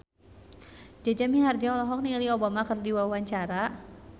Jaja Mihardja olohok ningali Obama keur diwawancara